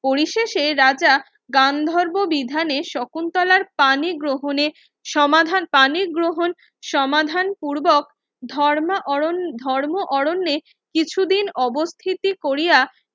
পড়ি শেষে রাজা গান্ধর্ব বিধানে শকুন্তলার পানি গ্রহণে সমাধান পানি গ্রহণ সমাধান পূর্বক ধর্মা অরণ্যে ধর্ম অরণ্যে কিছুদিন অবস্থিতি কোরিয়া